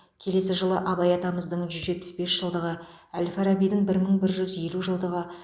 келесі жылы абай атамыздың жүз жетпіс бес жылдығы әл фарабидің бір мың бір жүз елу жылдығы